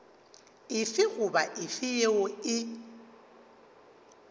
efe goba efe yeo e